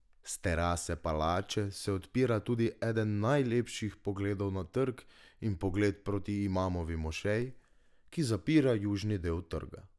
S terase palače se odpira tudi eden najlepših pogledov na trg in pogled proti Imamovi mošeji, ki zapira južni del trga.